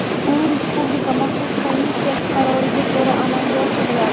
U Respublika maxsus komissiyasi qaroriga ko‘ra amalga oshiriladi .